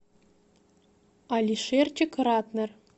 алишерчик ратнер